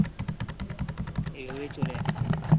এভাবেই চলে যাচ্ছে